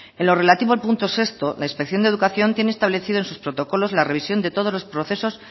en lo relativo al punto sexto la inspección de educación tiene establecido en sus protocolos la revisión de todos los procesos